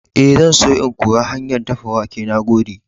Ee, zan so in koyi hanyar dafa wake. Na gode.